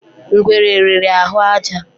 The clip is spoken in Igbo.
Ngwere riri ahụ àjà